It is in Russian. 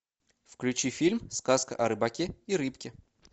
включи фильм сказка о рыбаке и рыбке